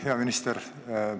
Hea minister!